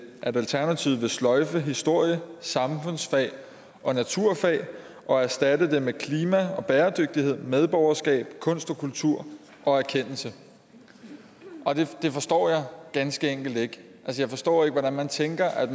at alternativet vil sløjfe historie samfundsfag og naturfag og erstatte dem med klima og bæredygtighed medborgerskab kunst og kultur og erkendelse det forstår jeg ganske enkelt ikke jeg forstår ikke hvordan man tænker at